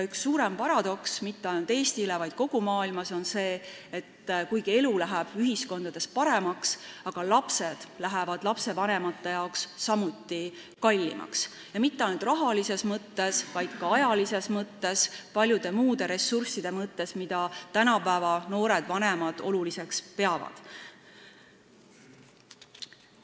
Üks suuremaid paradokse mitte ainult Eestis, vaid kogu maailmas on see, et kuigi elu läheb paremaks, lähevad lapsed lastevanematele kallimaks ja mitte ainult rahalises, vaid ka ajalises mõttes ning paljude muude ressursside mõttes, mida tänapäeva noored vanemad oluliseks peavad.